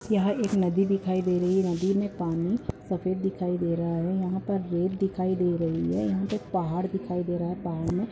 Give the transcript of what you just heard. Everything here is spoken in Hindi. यह एक नदी दिखाई दे रही है नदी में पानी सफ़ेद दिखाई दे रहा है यहाँ पर रेत दिखाई दे रही है यहाँ पे पहाड़ दिखाई दे रहा है पहाड़ में --